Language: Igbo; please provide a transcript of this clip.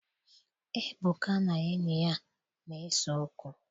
Ebuka na enyi ya na-ese okwu.